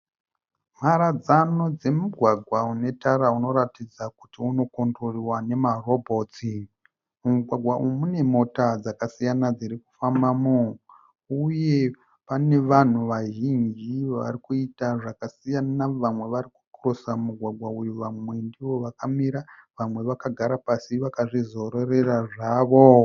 Mharadzano dzemugwagwa une tara unoratidza kuti unocontroliwa nemarobotsi. Mumugwagwa umu munemota dzakasiyana dzirikufambamo uye pane vanhu vazhinji varikuita zvakasiyana. Vamwe varikukirosa mugwagwa uyu vamwe ndovakamira vamwe vakagara pasi vakazvizororera zvavo.